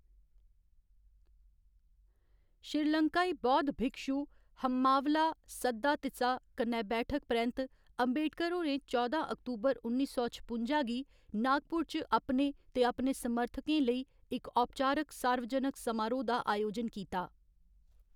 श्रीलंकाई बौद्ध भिक्षु हम्मावला सद्दातिसा कन्नै बैठक परैंत्त, अम्बेडकर होरें चौदां अक्तूबर उन्नी सौ छपुंजा गी नागपुर च अपने ते अपने समर्थकें लेई इक औपचारक सार्वजनक समारोह् दा अयोजन कीता।